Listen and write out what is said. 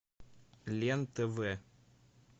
лен тв